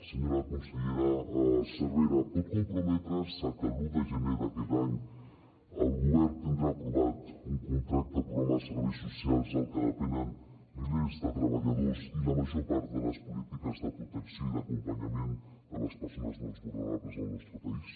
senyora consellera cervera pot comprometre’s a que l’un de gener d’aquest any el govern tindrà aprovat un contracte programa de serveis socials del que depenen milers de treballadors i la major part de les polítiques de protecció i d’acompanyament de les persones més vulnerables del nostre país